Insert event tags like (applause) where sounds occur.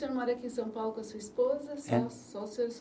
Senhor mora aqui em São Paulo com a sua esposa? É. Só, só (unintelligible)